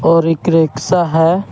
और एक रिक्शा है।